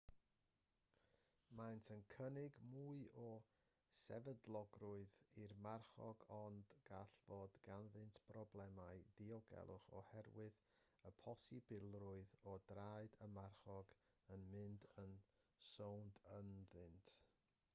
maent yn cynnig mwy o sefydlogrwydd i'r marchog ond gall fod ganddynt broblemau diogelwch oherwydd y posibilrwydd o draed y marchog yn mynd yn sownd ynddynt